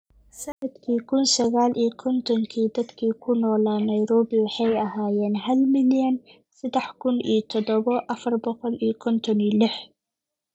“Sannadkii kun sagal iyo kontonkii dadka ku noolaa Nairobi waxay ahaayeen hal milyan sedax kun iyo todoba afar boqo iyo konton iyo lix